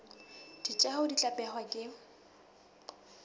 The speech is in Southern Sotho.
ditjeo di tla behwa ke